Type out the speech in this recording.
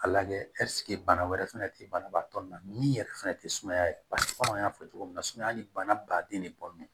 A lajɛ bana wɛrɛ fɛnɛ tɛ banabaatɔ na min yɛrɛ fɛnɛ tɛ sumaya paseke komi an y'a fɔ cogo min na sumaya ni bana baden de bɔnnen do